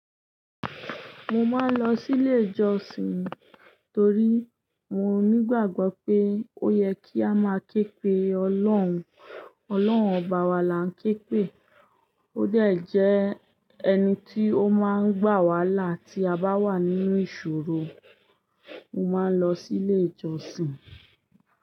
Mo máa ń lọ sí ilé ìjọsìn torí mo nígbàgbọ́ pé ó yẹ kí a máa ké pe Ọlọ́run. Ọlọ́run ọba wa là ń ké pe. Ó de jẹ ẹni tí ó máa ń gbà wá lá ti abá wà nínú ìṣòro. Mo máa ń lọ sí ilé ìjọsìn.